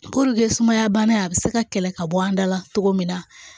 Puruke sumaya bana a bɛ se ka kɛlɛ ka bɔ an da la cogo min na